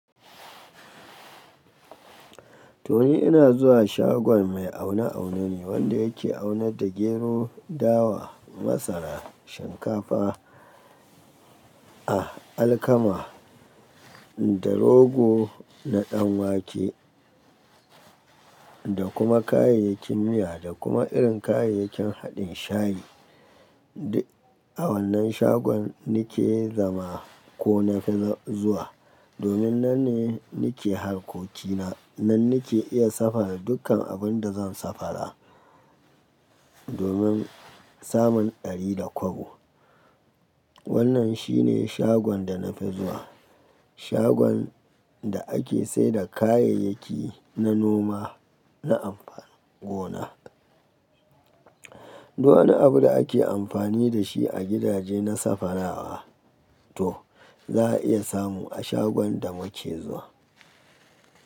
To ni ina zuwa shagon mai aune aune ne wanda yake aunad da gero, dawa, masara, shinkafa, a alkama da rogo da ɗanwake da kuma kayayyakin miya da kuma irin kayayyakin haɗin shayi. A wannan shagon na ke zama ko nafi zuwa domin nan ne nake harkokina, nan nake iya safara dukkan abin da zan safara domin samun ɗari da kwabo. Wannan shine shagon da na fi zuwa, shagon da ake saida kayayyaki na noma na amfanin gona. Duk wani abu da ake amfani da shi a gidaje na safarawa to za a iya samu a shagon da muke zuwa.